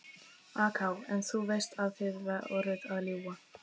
AK: En þú veist að þið voruð að ljúga?